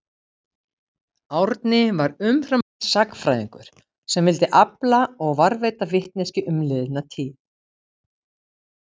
Árni var umfram allt sagnfræðingur sem vildi afla og varðveita vitneskju um liðna tíð.